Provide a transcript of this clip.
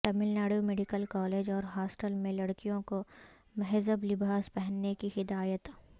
Tamil Nadu medical college اور hostel میں لڑکیوں کو مہذب لباس پہننے کی ہدایت